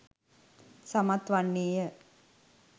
සමත් වන්නේ ය.